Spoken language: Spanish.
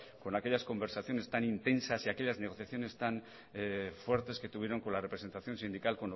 con aquellas conversaciones tan intensar y aquellas negociaciones tan fuertes que tuvieron con la representación sindical